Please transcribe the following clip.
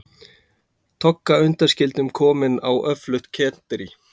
Togga undanskildum komin á öflugt kenderí.